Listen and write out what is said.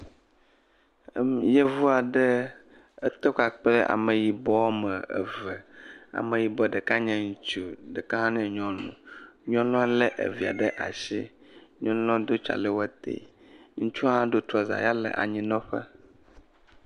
Yevu aɖe etɔ kpakple ameyibɔ wɔme eve. Ameyibɔ ɖeka nye ŋutsu. Ɖeka nye nyɔnu. Nyɔnua le evia ɖe asi. Nyɔnua do tsalɛwɔte. Ŋutsua do trɔa ya le anyinɔƒe.